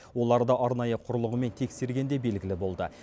оларды арнайы құрылғымен тексергенде белгілі болды